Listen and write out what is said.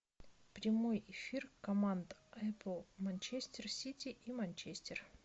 прямой эфир команд апл манчестер сити и манчестер